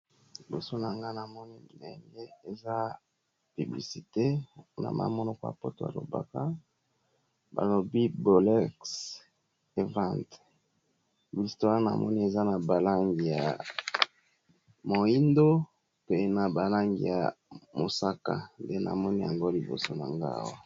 Liboso na nga na moni lenge eza biblisite na ma monoko a poto alobaka balobi bolex event blistoare na moni eza na balangi ya moindo pe na balangi ya mosaka nde na moni yango liboso na ngaw